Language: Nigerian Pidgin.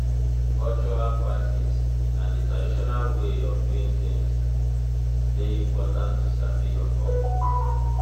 cultural practice na di traditional way of doing things de important to sabi your culture